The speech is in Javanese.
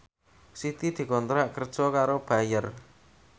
Siti dikontrak kerja karo Bayer